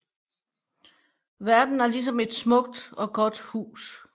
Verden er ligesom et smukt og godt hus